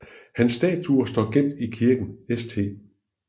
Hans statue står gemt i kirken St